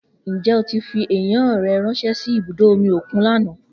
Njẹ o ti fi eiyan rẹ ranṣẹ si ibudo omi okun lana?